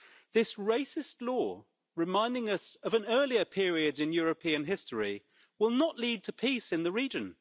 This racist law, reminding us of an earlier periods in European history, will not lead to peace in the region.